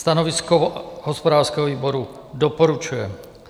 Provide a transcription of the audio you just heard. Stanovisko hospodářského výboru: Doporučuje.